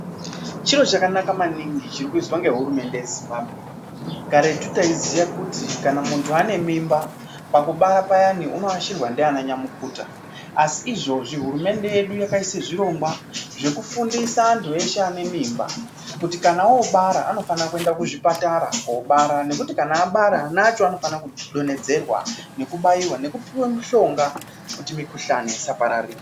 Chiro chakanaka maningi chirikuizwa ngehurumende ye Zimbabwe. Karetu taiziye kuti kana munhu ane mimba pakubara payani unoashirwa ndiana nya mukuta. Asi izvozvi hurumende yedu yakaise zvirongwa zvekufundisa anhu eshe anemimba kuti kana obara anofanire kuende kuzvipatara koabara, nekuti kana obara ana acho anofanira kudonhedzerwa nekubaiwa nekupiwe mishonga kuti mikuhlani isapararira.